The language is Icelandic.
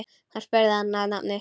Hún spurði hann að nafni.